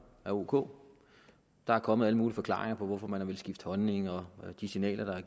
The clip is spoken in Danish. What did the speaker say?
er ok der er kommet alle mulige forklaringer på hvorfor man har villet skifte holdning og på de signaler der er